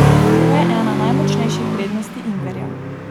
To je ena najmočnejših prednosti ingverja.